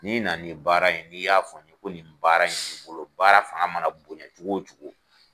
N'i na nin baara ye n'i y'a fɔ n ye ko nin baara in b'i bolo baara fanga mana bonya cogo o cogo